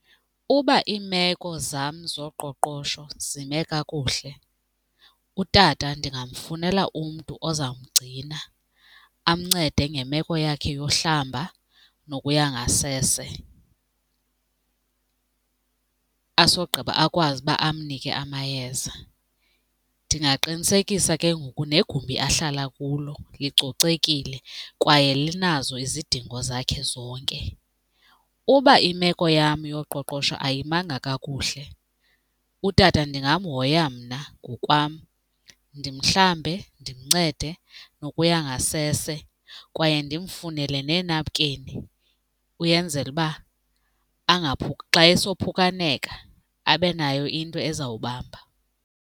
Uba iimeko zam zoqoqosho zime kakuhle, utata ndingamfunela umntu ozamgcina amncede ngemeko yakhe yokuhlamba nokuya ngasese, asogqiba akwazi uba amnike amayeza. Ndingaqinisekisa ke ngoku negumbi ahlala kulo licocekile kwaye linazo izidingo zakhe zonke. Uba imeko yam yoqoqosho ayimanga kakuhle, utata ndingamhoya mna ngokwam ndimhlambe, ndimncede, nokuya ngasese kwaye ndimfunele neenapukeni uyenzela uba xa esophukaneka abe nayo into ezawubamba.